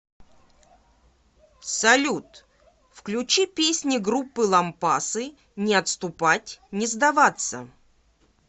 салют включи песни группы лампасы не отступать не сдаваться